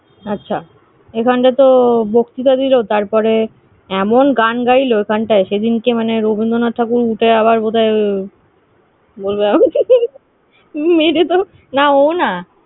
আচ্ছা এখানে তো বক্তিতা দিলো তারপরে এমন গান গাইলো এখানটায়, সেদিনকে, মানে রবীন্দ্রনাথ ঠাকুর উঠে আবার বোধহয় না ও না।